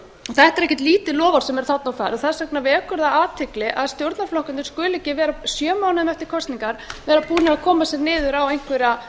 þetta er ekki lítið loforð sem þarna er á ferð þess vegna vekur athygli að stjórnarflokkarnir skuli ekki vera næstum sjö mánuðum eftir kosningar búnir að koma sér niður á einhverja